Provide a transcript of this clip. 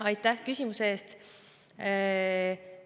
Aitäh küsimuse eest!